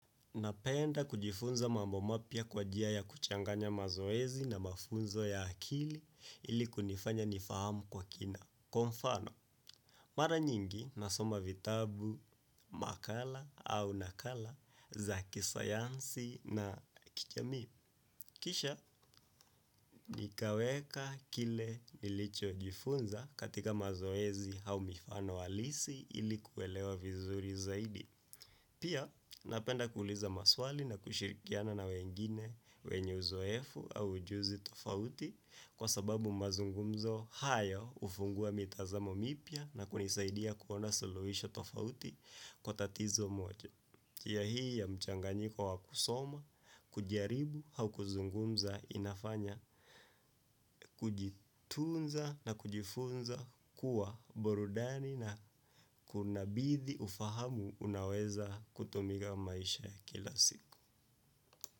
Napenda kujifunza mambo mapya kwa njia ya kuchanganya mazoezi na mafunzo ya akili ili kunifanya nifahamu kwa kina. Kwa mfano, mara nyingi na soma vitabu, makala au nakala za kisayansi na kijamii. Kisha, nikaweka kile nilichojifunza katika mazoezi au mifano halisi ili kuelewa vizuri zaidi. Pia napenda kuuliza maswali na kushirikiana na wengine wenye uzoefu au ujuzi tofauti kwa sababu mazungumzo haya hufungua mitazamo mipya na kunisaidia kuona suluhisho tofauti kwa tatizo moja. Njia hii ya mchanganyiko wa kusoma, kujaribu au kuzungumza inafanya, kujitunza na kujifunza kuwa burudani na kunabidi ufahamu unaweza kutumika maisha ya kila siku.